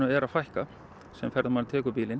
er að fækka sem einstaklinguirnn tekur bílinn